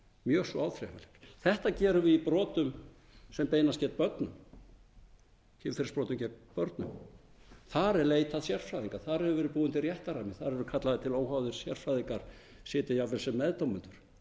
mjög svo á áþreifanlegar þetta gerum við í brotum sem beinast gegn börnum kynferðisbrotum gegn börnum þar er leitað sérfræðinga þar hefur verið búinn til réttarrammi þar eru kallaðir til óháðir sérfræðingar sitja jafnvel sem meðdómendur